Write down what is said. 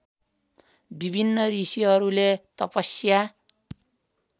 विभिन्न ऋषिहरूले तपस्या